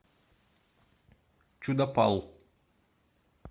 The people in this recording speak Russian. чудопал